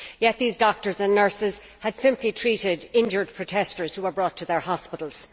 Yet these doctors and nurses had simply treated injured protestors who were brought to their hospitals.